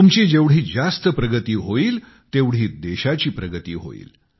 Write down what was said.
तुमची जेवढी जास्त प्रगती होईल तेवढी देशाची प्रगती होईल